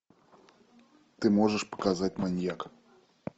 ты можешь показать маньяка